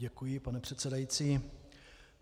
Děkuji, pane předsedající.